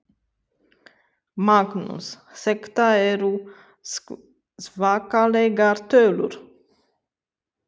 Magnús: Þetta eru svakalegar tölur?